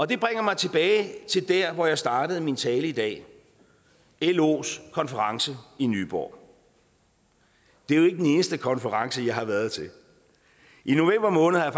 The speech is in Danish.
det bringer mig tilbage til der hvor jeg startede min tale i dag los konference i nyborg det er jo ikke den eneste konference jeg har været til i november måned har